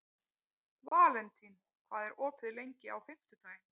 Valentín, hvað er opið lengi á fimmtudaginn?